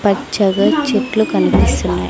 పచ్చగా చెట్లు కనిపిస్తున్నాయి.